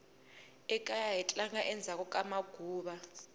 ekaya hi tlanga endzhaku ka maguva